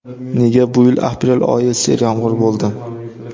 Nega bu yil aprel oyi seryomg‘ir bo‘ldi?